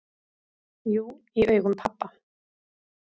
"""Jú, í augum pabba"""